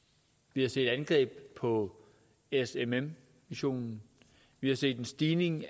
vi har set angreb på smm missionen vi har set en stigning i